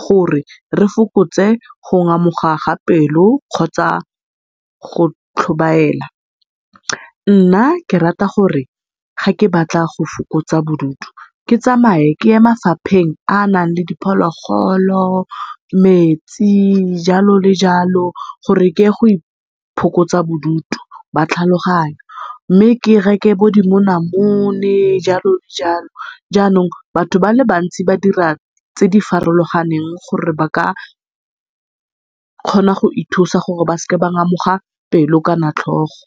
gore re fokotse go ngamoga ga pelo kgotsa go tlhobaela. Nna ke rata gore ga ke batla go fokotsa bodutu ke tsamae ke ye mafapheng a a nang le diphologolo, metsi jalo le jalo gore keye go iphokotsa bodutu ba tlhaloganyo, mme ke reke bo dimonamone jalo le jalo. Jaanong batho ba le bantsi ba dira tse di farologaneng gore ba ka kgona go ithusa gore ba seke ba ngamoga pelo kana tlhogo.